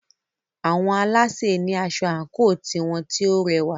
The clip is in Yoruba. Àwọn alásè ní asọ àńkò tiwọn tí o rẹwà.